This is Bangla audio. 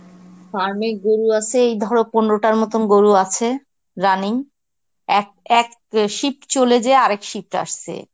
farm এ গরু আসে এই ধরো পনেরোটার মতন গরু আছে running. এক এক shift চলে যেয়ে আরেক shift আসছে.